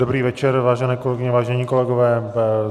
Dobrý večer, vážené kolegyně, vážení kolegové.